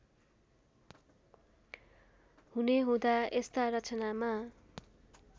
हुनेहुँदा यस्ता रचनामा